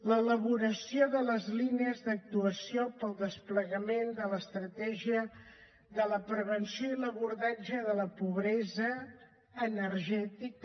l’elaboració de les línies d’actuació per al desplegament de l’estratègia de prevenció i abordatge de la pobresa energètica